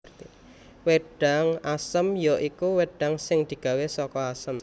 Wédang Asem ya iku wedang sing digawé saka Asem